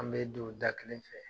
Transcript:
An mɛ don da kelen fɛ